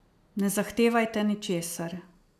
Ne zahtevajte ničesar.